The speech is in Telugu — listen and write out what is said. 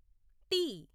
టి